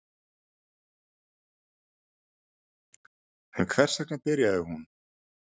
En hvers vegna byrjaði hún?